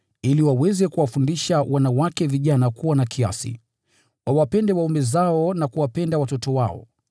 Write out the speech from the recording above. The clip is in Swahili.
ili waweze kuwafundisha wanawake vijana kuwa na kiasi, wawapende waume zao na kuwapenda watoto wao,